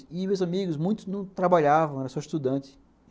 E meus amigos, muitos não trabalhavam, eram só estudantes.